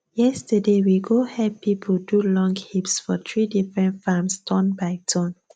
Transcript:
yesterday we go help people do long heaps for three different farms turn by turn